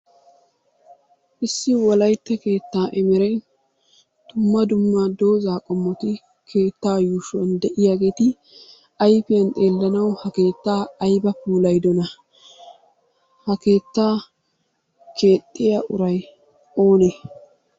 Issi wolaytta keettaa emereen dumma dumma dooza qommotti keettaa yuushshuwaani de'iyaagetti ayfiyaan xeelanawu ha keettaa ayba puulayidonna! Ha keettaa keexiyaa uray oone?